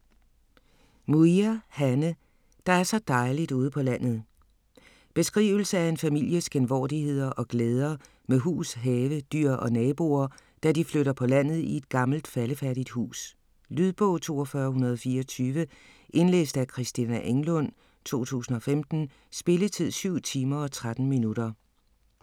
Muir, Hanne: - der er så dejligt ude på landet ... Beskrivelse af en families genvordigheder og glæder med hus, have, dyr og naboer, da de flytter på landet i et gammelt faldefærdigt hus. Lydbog 42124 Indlæst af Christina Englund, 2015. Spilletid: 7 timer, 13 minutter.